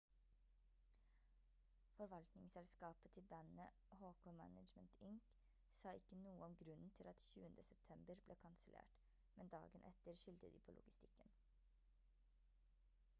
forvaltningsselskapet til bandet hk management inc sa ikke noe om grunnen til at 20. september ble kansellert men dagen etter skyldte de på logistikken